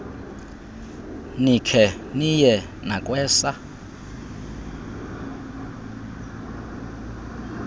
nikhe niye nakwesa